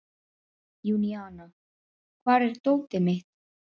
Júníana, hvar er dótið mitt?